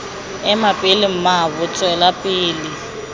ema pele mmaabo tswela pele